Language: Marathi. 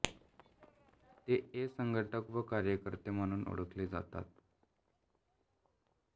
ते ए संघटक व कार्यकर्ते म्हणून ओळखले जातात